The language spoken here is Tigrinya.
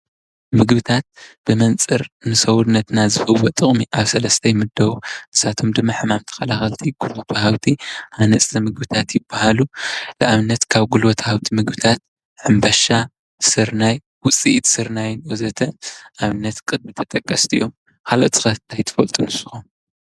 ምግብታት ብመንፅር ንሰዉነትና ዝህብዎ ጥቅሚ ኣብ ሰለስተ ይምደቡ ።ንሳቶም ድማ:- ሕማማት ተከላከልቲ ፣ ጉልበት ወሃብቲን ሃነፅቲ ምግብታት ይበሃሉ ንኣብነት ካብ ጉልበት ወሃብቲ ምግብታት ሕምበሻ ስርናይ ውፅኢት ስርናይን ወHተ ኣብነት ቅድሚት ተጠቀስቲ እዮም። ካልኦት ኸ ታይ ትፈልጡ ንስኹም ?